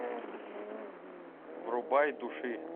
врубай души